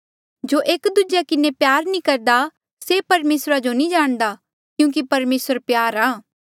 जो एक दूजेया प्यार नी करदा से परमेसरा जो नी जाणदा क्यूंकि परमेसर प्यार आ